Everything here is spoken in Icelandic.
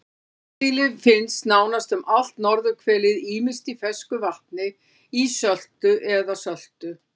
Hornsíli finnst nánast um allt norðurhvelið ýmist í fersku vatni, ísöltu eða söltu.